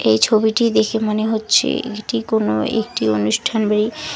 এই ছবিটি দেখে মনে হচ্ছে এটি কোনো একটি অনুষ্ঠান বাড়ি।